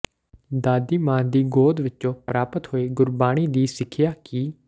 ਦਾਦੀ ਮਾਂ ਦੀ ਗੋਦ ਵਿਚੋਂ ਪ੍ਰਾਪਤ ਹੋਈ ਗੁਰਬਾਣੀ ਦੀ ਸਿਖਿਆ ਕਿ